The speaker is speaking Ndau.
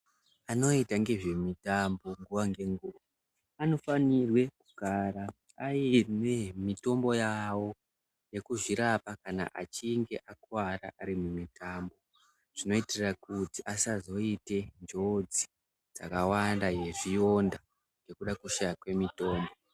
Anoita ngezve mitambo nguva nge nguva ano fanirwe kugara aine mitombo yavo yeku zvirapa kana achinge akuvara ari mu mitambo zvino itira kuti asazoite njodzi dzaka wanda ye zviyonda ngekuda kushaya kwe mitombo.